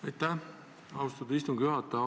Aitäh, austatud istungi juhataja!